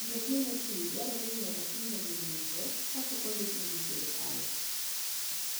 Mtokni motii dwarore ni nyaka time gi nonro kapok ondikgi gi sirkal.